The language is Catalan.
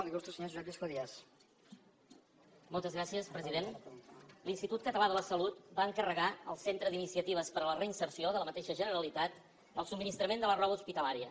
l’institut català de la salut va encarregar al centre d’iniciatives per a la reinserció de la mateixa generalitat el subministrament de la roba hospitalària